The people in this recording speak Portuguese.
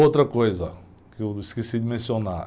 Outra coisa que eu esqueci de mencionar.